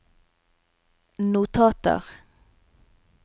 notater